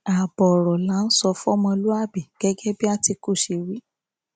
ààbọ ọrọ là á sọ fọmọlúàbí gẹgẹ bí àtìkù ṣe wí